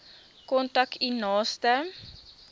kontak u naaste